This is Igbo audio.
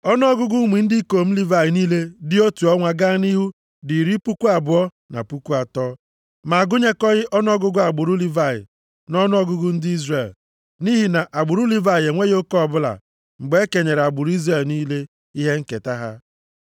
Ọnụọgụgụ ụmụ ndị ikom Livayị niile dị otu ọnwa gaa nʼihu dị iri puku abụọ na puku atọ (23,000). Ma a gụnyekọghị ọnụọgụgụ agbụrụ Livayị nʼọnụọgụgụ ndị Izrel, nʼihi na agbụrụ Livayị enweghị oke ọbụla mgbe e kenyere agbụrụ Izrel niile ihe nketa ha.